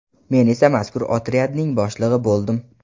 Men esa mazkur otryadning boshlig‘i bo‘ldim.